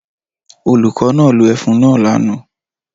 Olùkọ́ náà lo ẹfun náà lánàá